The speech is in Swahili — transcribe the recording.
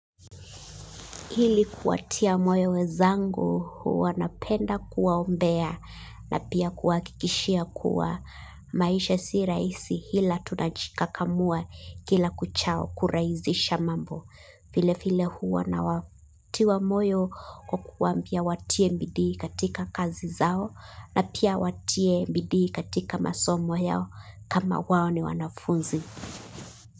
Hili kuwatia moyo wenzangu huwa napenda kuwaombea na pia kuwahakikishia kuwa maisha si rahisi ila tunajikakamua kila kuchao kurahisisha mambo. Vile vile huwa nawatia moyo kwa kuwaambia watie bidii katika kazi zao na pia watie bidii katika masomo yso kama wao ni wanafunzi.